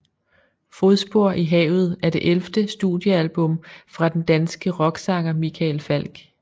Fodspor i havet er det ellevte studiealbum fra den danske rocksanger Michael Falch